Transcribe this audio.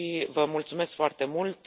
Vă mulțumesc foarte mult.